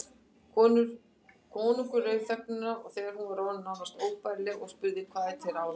Konungur rauf þögnina þegar hún var orðin nánast óbærileg og spurði:-Hvað er til ráða?